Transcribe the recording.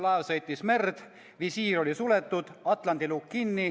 Laev sõitis merd, visiir oli suletud, atlandi lukk kinni.